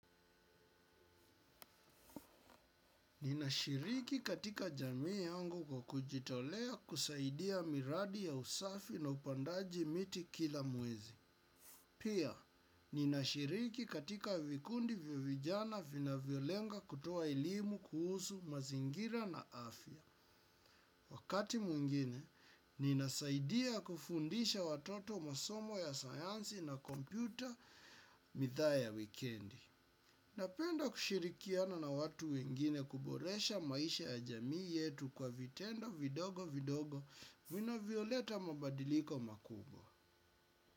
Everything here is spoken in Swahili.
Ninashiriki katika jamii yangu kwa kujitolea kusaidia miradi ya usafi na upandaji miti kila mwezi. Pia, ninashiriki katika vikundi vya vijana vinavyolenga kutoa elimu kuhusu mazingira na afya. Wakati mwingine, ninasaidia kufundisha watoto masomo ya sayansi na kompyuta, midhaa ya wikendi. Napenda kushirikiana na watu wengine kuboresha maisha ya jamii yetu kwa vitendo vidogo vidogo vinavyoleta mabadiliko makubwa.